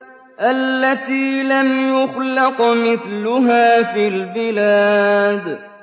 الَّتِي لَمْ يُخْلَقْ مِثْلُهَا فِي الْبِلَادِ